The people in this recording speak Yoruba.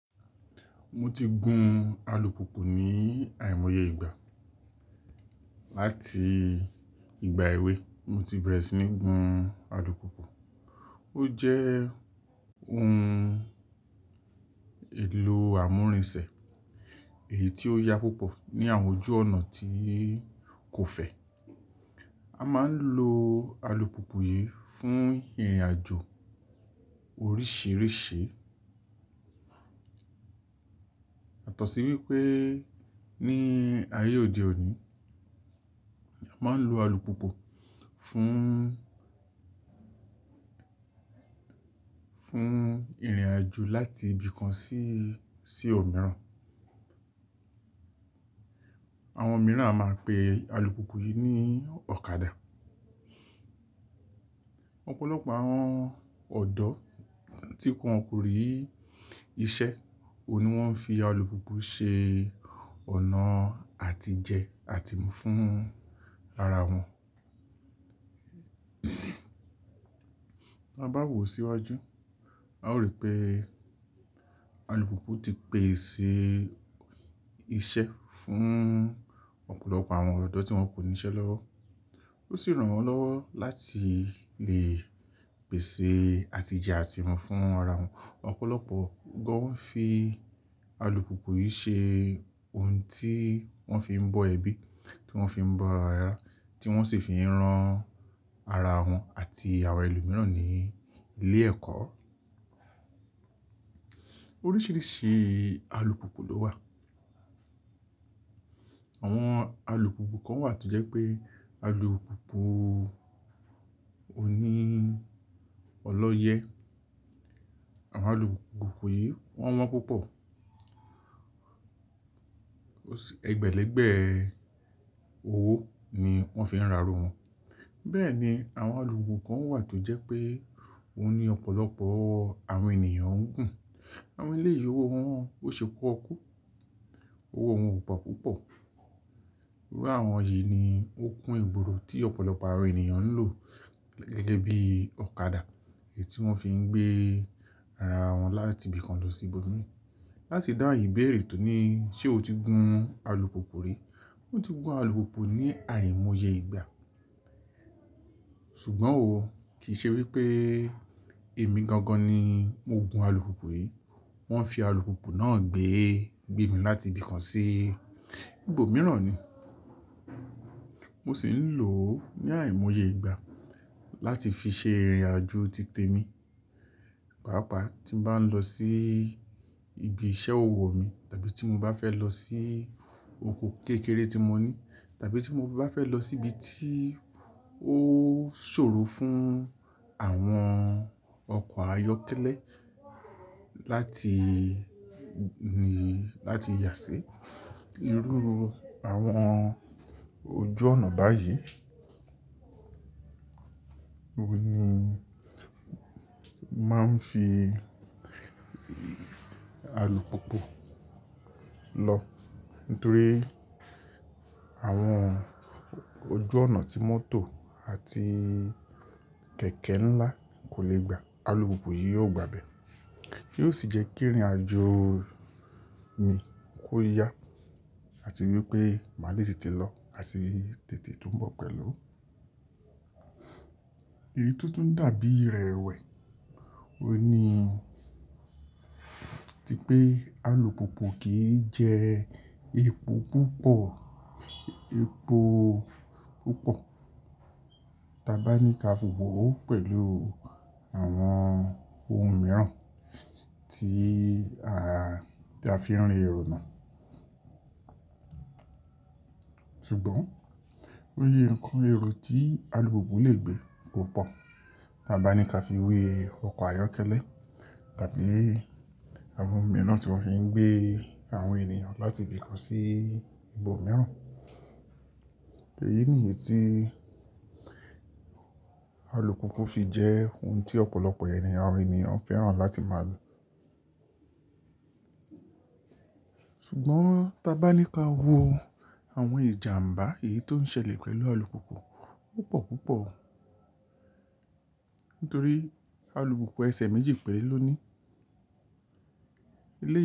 Mo ti gun alùpùpù ní àìmọye ìgbà. Láti ìgbà èwe, mo ti bẹ̀rẹ̀ sí ní gun alùpùpù. Ó jẹ́ ohun èlò àmúrinṣẹ̀, èyí tí ó yá púpọ̀ ní àwọn ojú ọ̀nà tí kò fẹ̀. A máa ń lo alùpùpù yìí fún ìrìnàjò oríṣìíríṣìí. Yatọ̀sí wípé ní ayé òde òní, a máa ń lo alùpùpù fún, fún ìrìnàjò láti ibì kan sí, sí ọ̀ mìíràn. Àwọn mìíràn a máa pe alùpùpù yìí ní ọ̀kadà. Ọ̀pọ̀lọpọ̀ àwọn ọ̀dọ́ tí wọn kò rí iṣẹ́, òun ni wọ́n fi alùpùpù ṣe ọ̀nà àtijẹ àtìmọ́ fún ara wọn. Bá wò síwájú, a ó rí pé alùpùpù ti pèsè iṣẹ́ fún ọ̀pọ̀lọpọ̀ àwọn ọ̀dọ́ tí wọn kò ní iṣẹ́ lọ́wọ́. Ó sì ràn wọ́n lọ́wọ́ láti lè pèsè àtijẹ àtìmu fún ara wọn. Ọ̀pọ̀lọpọ̀ gán fi alùpùpù yìí ṣe ohun tí wọ́n fi ń bọ́ ẹbí, tí wọ́n fi ń bọ́ ẹrá, tí wọ́n sì fi ń rán ara wọn àti àwọn ẹlòmíràn ní ilé ẹ̀kọ́. Oríṣìíríṣìí alùpùpù ló wà. Àwọn alùpùpù kan wà tó jẹ́ pé alùpùpù òní ọlọ́yẹ́. Àwọn alùpùpù yìí wọ́n wọ́n púpọ̀. Ó sì ẹgbẹ̀lẹ́gbẹ̀ẹ́ owó ni wọ́n fi ń rárá wọn. Bẹ́ẹ̀ ni àwọn alùpùpù kan wà tó jẹ́ pé òun ní ọ̀pọ̀lọpọ̀ àwọn ènìyàn ń gùn. Àwọn eléyi owó wọn ò ṣepọ́kú. Owó wọn ò po púpọ̀. Iru àwọn yìí ni ó kun ìgboro tí ọ̀pọ̀lọpọ̀ àwọn ènìyàn ń lò, gẹ́gẹ́ bí i ọ̀kadà, èyí tí wọ́n fi ń gbé ara wọn láti ibì kan lọ sí ibòmíràn. Láti dáun ìbéèrè tó ní, ṣé o ti gun alùpùpù rí? Mo ti gun alùpùpù ní àìmọye ìgbà. Ṣùgbọ́n òun kì í ṣe wípé èmi gangan ni mo gun alùpùpù yìí. Wọ́n fi alùpùpù náà gbé, gbé mi láti ibì kan sí ibòmíràn ni. Mo sì ń lò ó ní àìmọye ìgbà láti fi ṣe ìrìnàjò títẹ mi. Pàápàá tí mo bá ń lọ sí ibi iṣẹ́ owó mi tàbí tí mo bá fẹ́ lọ sí oko kékeré tí mo ní tàbí tí mo bá fẹ́ lọ sí ibi tí ó ṣòro fún àwọn ọkọ̀ ayọ́kẹ́lẹ́ láti, ni, láti yà sí irú àwọn ojú ọ̀nà báyìí. Óun ni máa ń fi alùpùpù lọ nítorí àwọn ojú ọ̀nà tí mọ́tò àti kẹ̀kẹ́ ńlá kò lè gbà. Alùpùpù yìí yóò gbà á bẹ. Yóò sì jẹ́ kí ìrìnàjò mi kó yá, àti wípé má lè tètè lọ àti tètè túbọ̀ pẹ̀lú. Èyí tó tún dàbí ìrẹ̀wẹ̀, òun ni tí pé alùpùpù kì í jẹ epo púpọ̀, epo púpọ̀. Tábá ní ka fi wò ó pẹ̀lú àwọn ohun mìíràn tí a, tí a fi ń rìn oná. Ṣùgbọ́n, ó yé ǹkan ẹrú tí alùpùpù lè gbé ko pọ̀. Tábá ní ka fi we ọkọ̀ ayọ́kẹ́lẹ́ tàbí àwọn ohun mìíràn tí wọ́n fi ń gbé àwọn ènìyàn láti ibì kan sí ibòmíràn. Eyi nìyí tí alùpùpù fi jẹ́ ohun tí ọ̀pọ̀lọpọ̀ ènìyàn, ènìyàn ń fẹ́ràn láti máa lo. Ṣùgbọ́n tá bá ní ka wo àwọn ìjàǹbá èyí tó ń ṣẹlẹ̀ pẹ̀lú alùpùpù, ó pọ̀ púpọ̀. Nítorí alùpùpù ẹsẹ̀ méjì pẹ́lú ló ní.